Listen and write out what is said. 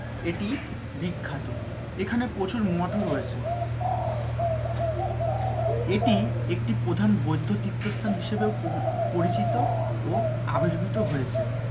এটি বিখ্যাত এখানে প্রচুর মঠও রয়েছে এটি একটি প্রধান বৈধ তীর্থস্থান হিসেবে পরিচিত ও আবির্ভুত হয়েছে।